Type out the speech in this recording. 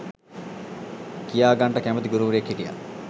කියාගන්නට කැමැති ගුරුවරයෙක් හිටියා.